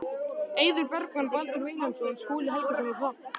Eiður Bergmann, Baldur Vilhelmsson, Skúli Helgason og Hrafn